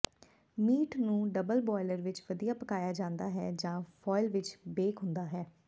meat ਨੂੰ double boiler ਵਿੱਚ ਵਧੀਆ ਪਕਾਇਆ ਜਾਂਦਾ ਹੈ ਜਾਂ ਫੋਇਲ ਵਿੱਚ ਬੇਕ ਹੁੰਦਾ ਹੈ